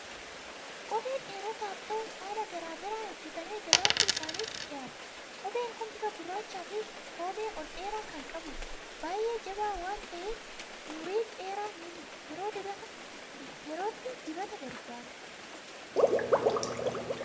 Kopheen dhiirotaaf ta'u haala garaa garaan hojjetameee gabaatti isaaniif dhiyaata. Kopheen kun bifa gurraachaa fi koomee ol dheeraa kan qabudha. Baay'ee jabaa waan ta'eef umurii dheeraa ni tura. Yerootti dibata barbaada.